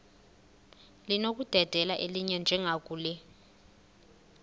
linokudedela elinye njengakule